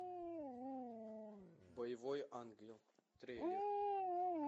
боевой ангел трейлер